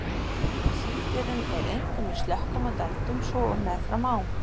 Sífrerinn er einkum í slökkum og dældum svo og meðfram ám.